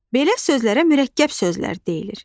Belə sözlərə mürəkkəb sözlər deyilir.